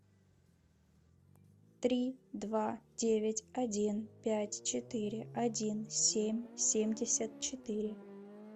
три два девять один пять четыре один семь семьдесят четыре